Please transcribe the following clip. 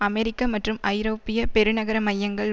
அமெரிக்க மற்றும் ஐரோப்பிய பெருநகர மையங்கள்